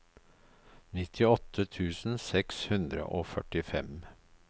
nittiåtte tusen seks hundre og førtifem